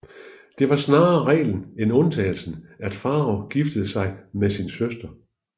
Det var snarere reglen end undtagelsen at farao giftede sig med sin søster